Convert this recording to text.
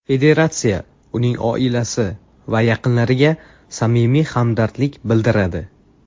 Federatsiya uning oilasi va yaqinlariga samimiy hamdardlik bildiradi.